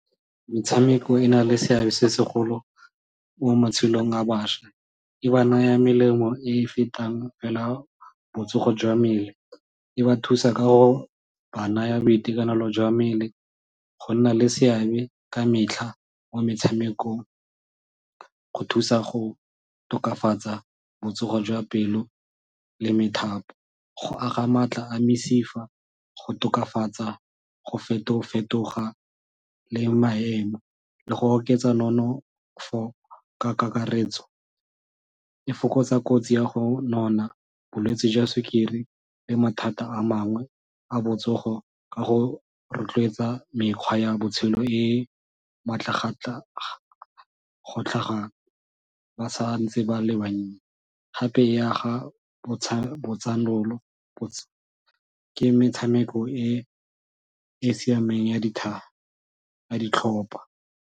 Metshameko e na le seabe se segolo mo matshelong a bašwa. E ba naya melemo e e fetang fela botsogo jwa mmele, e ba thusa ka go ba naya boitekanelo jwa mmele, go nna le seabe ka metlha mo metshamekong go thusa go tokafatsa botsogo jwa pelo le methapo, go aga maatla a mesifa, go tokafatsa go feto fetoga le maemo le go oketsa nonofo ka kakaretso e fokotsa kotsi ya go nona, bolwetsi jwa sukiri le mathata a mangwe a botsogo ka go rotloetsa mekgwa ya botshelo e go tlhaga ba santse ba le bannye gape e aga ke metshameko e e siameng ya dithaga ya ditlhopha.